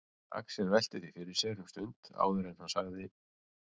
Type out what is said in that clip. Axel velti því fyrir sér um stund áður en hann sagði